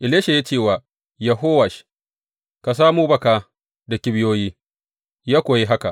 Elisha ya ce wa Yehowash, Ka samo baka da kibiyoyi, ya kuwa yi haka.